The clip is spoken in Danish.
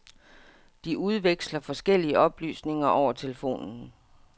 De udveksler forskellige oplysninger over telefonen.